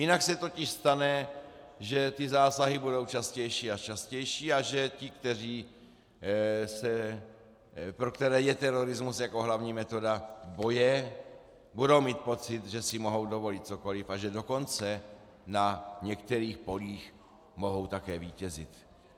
Jinak se totiž stane, že ty zásahy budou častější a častější a že ti, pro které je terorismus jako hlavní metoda boje, budou mít pocit, že si mohou dovolit cokoliv, a že dokonce na některých polích mohou také vítězit.